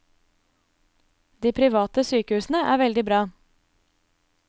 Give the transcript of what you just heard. De private sykehusene er veldig bra.